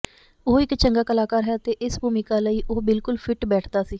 ਉਹ ਇੱਕ ਚੰਗਾ ਕਲਾਕਾਰ ਹੈ ਅਤੇ ਇਸ ਭੂੂਮਿਕਾ ਲਈ ਉਹ ਬਿਲਕੁਲ ਫਿੱਟ ਬੈਠਦਾ ਸੀ